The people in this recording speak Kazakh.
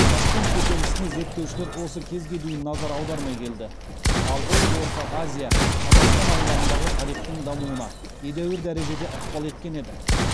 ташкент көтерілісіне зерттеушілер осы кезге дейін назар аудармай келді ал ол орта азия қазақстан аймағындағы тарихтың дамуына едәуір дәрежеде ықпал еткен еді